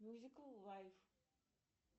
мюзикл лайф